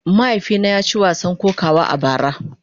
Mahaifina ya ci wasan kokawa a bara.